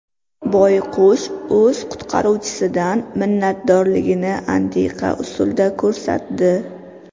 Boyqush o‘z qutqaruvchisidan minnatdorligini antiqa usulda ko‘rsatdi.